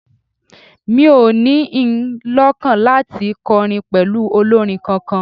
Mi ò ní in lọ́kàn láti kọrin pẹ̀lú olórin kankan